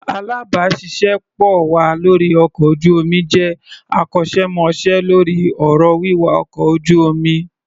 Alábàáṣiṣé pọ̀ wa lórí ọkọ̀ ojú-omi jẹ́ akọ́ṣẹ́mọṣẹ́ lórí ọ̀rọ̀ wíwa ọkọ̀ ojú-omi.